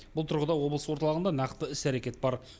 бұл тұрғыда облыс орталығында нақты іс әрекет бар